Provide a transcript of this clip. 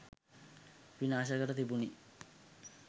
විනාශ කර තිබුණි